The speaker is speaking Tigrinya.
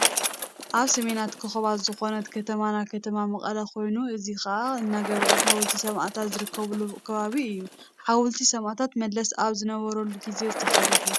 ኣበ ሰሜናት ኮኮብ ዝኮነት ከተማና ከተማ መቀለ ኮይኑ እዚ ከባ እንዳገብሪኤል ሓወልቲ ሰማእታት ዝርከበሉ ከባቢ እዩ። ሓወልቲ ሰማእታት መለስ ኣብ ዝነበረሉ ግዜ ተሰረሑ።